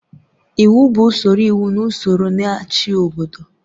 Iwu bụ usoro iwu na ụsọrọ na-achị obodo.